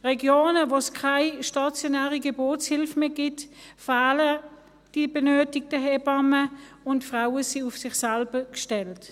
In Regionen, in denen es keine stationäre Geburtshilfe mehr gibt, fehlen die benötigten Hebammen, und die Frauen sind auf sich selbst gestellt.